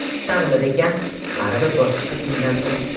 Taqdir ekan, baribir boshqa qizga uylandim.